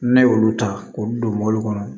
Ne y'olu ta k'olu don mobili kɔnɔ